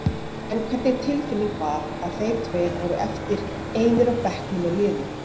En hvernig tilfinning var að þeir tveir voru eftir einir á bekknum með liðið?